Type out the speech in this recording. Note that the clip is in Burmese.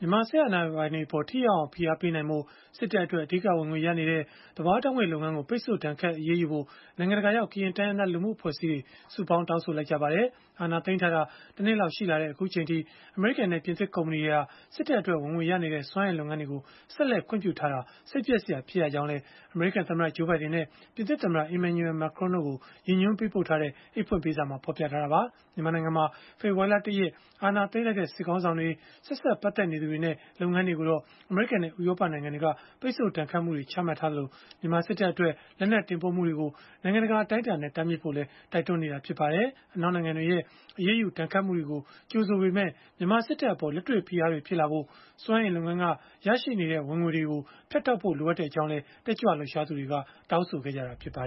မြန်မာစစ်အာဏာပိုင်တွေအပေါ် ထိရောက်အောင် ဖိအားပေးနိုင်ဖို့ စစ်တပ်အတွက် အဓိကဝင်ငွေရနေတဲ့ သဘာဝဓာတ်ငွေ့ လုပ်ငန်းကို ပိတ်ဆို့ဒဏ်ခတ် အရေးယူဖို့ နိုင်ငံတကာရောက် ကရင်တိုင်းရင်းသား အဖွဲ့အစည်းတွေ စုပေါင်းတောင်းဆိုလိုက်ကြပါတယ်။ အာဏာသိမ်းထားတာ ၁ နှစ်လောက် ရှိလာတဲ့ အခုအချိန်အထိ အမေရိကန်နဲ့ ပြင်သစ်ကုမ္ပဏီတွေဟာ စစ်တပ်အတွက် ဝင်ငွေရနေတဲ့ စွမ်းအင်လုပ်ငန်းတွေကို ဆက်လက်ခွင့်ပြုထားတာဟာ စိတ်ပျက်စရာ ဖြစ်ရကြောင်းလည်း အမေရိကန်သမ္မတ Joe Biden နဲ့ ပြင်သစ်သမ္မတ Emmanuel Macron တို့ကို ရည်ညွှန်းပေးပို့ထားတဲ့ အိတ်ဖွင့်ပေးစာမှာ ဖော်ပြထားတာပါ။ မြန်မာနိုင်ငံမှာ ဖေဖော်ဝါရီလ ၁ ရက် အာဏာသိမ်းလိုက်တဲ့ စစ်ခေါင်းဆောင်တွေ၊ ဆက်စပ်ပတ်သက်နေသူတွေနဲ့ လုပ်ငန်းတွေကိုတော့ အမေရိကန်နဲ့ ဥရောပ နိုင်ငံတွေက ပိတ်ဆို့ဒဏ်ခတ်မှုတွေ ချမှတ်ခဲ့သလို၊ မြန်မာစစ်တပ်အတွက် လက်နက်တင်ပို့မှုတွေကို နိုင်ငံတကာ အတိုင်းအတာနဲ့ တားမြစ်ဖို့လည်း တိုက်တွန်းနေတာ ဖြစ်ပါတယ်။ အနောက်နိုင်ငံတွေရဲ့ အရေးယူဒဏ်ခတ်မှုတွေကို ကြိုဆိုပေမဲ့ မြန်မာစစ်တပ်အပေါ် လက်တွေ့ဖိအားတွေ ဖြစ်လာဖို့ စွမ်းအင်လုပ်ငန်းက ရရှိနေတဲ့ ဝင်ငွေတွေကို ဖြတ်တောက်ဖို့ လိုအပ်ကြောင်းလည်း တက်ကြွလှုပ်ရှားသူတွေ တောင်းဆိုခဲ့ကြတာပါ